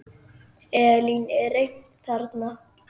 Elín, er reimt þarna?